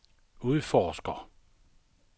udforsker